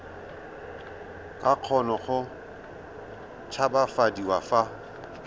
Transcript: ka kgona go tshabafadiwa fa